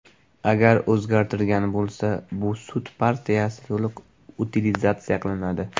Agar o‘zgartirgan bo‘lsa, bu sut partiyasi to‘liq utilizatsiya qilinadi.